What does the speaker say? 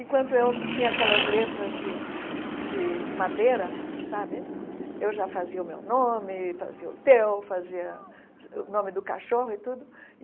Enquanto eu tinha aquelas letras de de madeira sabe, eu já fazia o meu nome, fazia o teu, fazia o nome do cachorro e tudo.